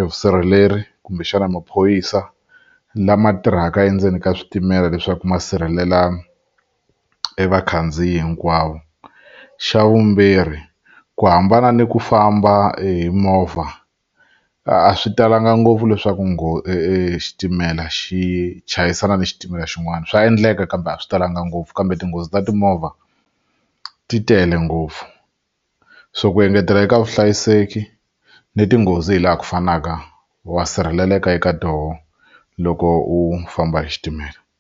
evusirheleri kumbexana maphorisa lama tirhaka endzeni ka switimela leswaku ma sirhelela evakhandziyi hinkwavo xa vumbirhi ku hambana ni ku famba hi movha a swi talanga ngopfu leswaku xitimela xi chayisana ni xitimela xin'wana swa endleka kambe a swi talanga ngopfu kambe tinghozi ta timovha ti tele ngopfu so ku engetela eka vuhlayiseki ni tinghozi hi laha ku fanaka wa sirheleleka eka toho loko u famba hi xitimela.